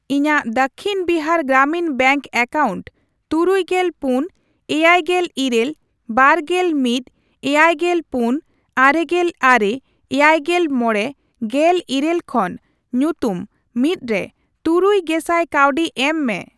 ᱤᱧᱟᱜ Dakshin Bihar Gramin bank account ᱛᱩᱨᱩᱭᱜᱮᱞ ᱯᱩᱱ, ᱮᱭᱟᱭᱜᱮᱞ ᱤᱨᱟᱹᱞ, ᱵᱟᱨᱜᱮᱞ ᱢᱤᱫ, ᱮᱭᱟᱭᱜᱮᱞ ᱯᱩᱱ, ᱟᱨᱮᱜᱮᱞ ᱟᱨᱮ, ᱮᱭᱟᱭᱜᱮᱞ ᱢᱚᱲᱮ, ᱜᱮᱞ ᱤᱨᱟᱹᱞ ᱠᱷᱚᱱ ᱧᱩᱛᱩᱢᱼ᱑ ᱨᱮ ᱛᱩᱨᱩᱭ ᱜᱮᱥᱟᱭ ᱠᱟᱹᱣᱰᱤ ᱮᱢ ᱢᱮ ᱾